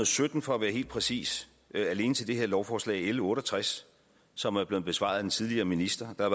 sytten for at være helt præcis alene til det her lovforslag l otte og tres som er blevet besvaret af den tidligere minister der